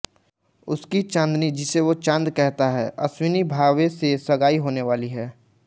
उसकी चाँदनी जिसे वो चाँद कहता है अश्विनी भावे से सगाई होने वाली है